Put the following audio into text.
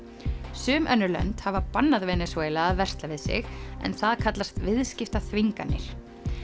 sum önnur lönd hafa bannað Venesúela að versla við sig en það kallast viðskiptaþvinganir